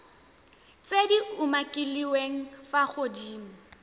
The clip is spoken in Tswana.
tse di umakiliweng fa godimo